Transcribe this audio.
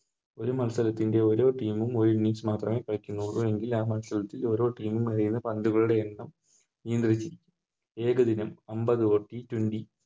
ഒരു മത്സരത്തിൻറെ ഒരെ Team ഉം ഒര് Innings മാത്രമേ കളിക്കുന്നുള്ളു എങ്കിൽ ആ മത്സരത്തിൽ ഓരോ Team ഉം എറിയുന്ന പന്തുകളുടെ എണ്ണം നിയന്ത്രിക്കും ഏകദിനം ഒൻപത് T twenty